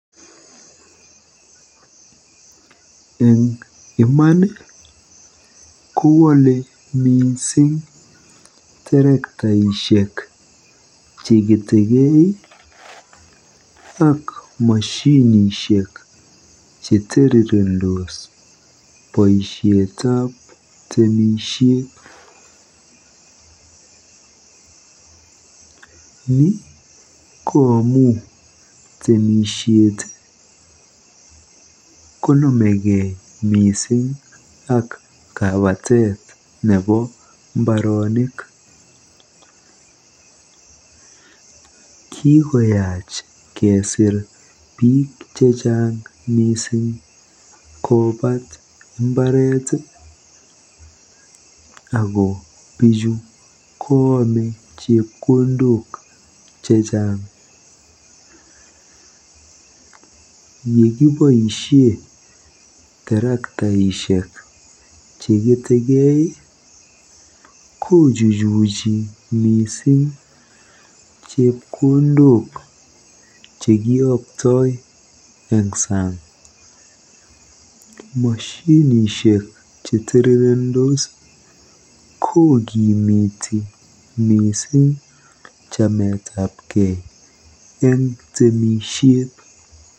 En Iman nii kowole missing terektaishek cheketegee ak moshinishek chetirirendos boishetab temishet. Nii ko amun temishet konomegee missing ak kabwatet nebo imbaronik, kikomach kesir bik chechang missing kobat imbaret tii ako bichu ko ome chepkondok chechang yekeboishen terektaishek cheketegee kochuchuchi missing chepkondok chekiyokto en sang. Moshinishek chetirirendos kokimiti missing chametagee en temishet.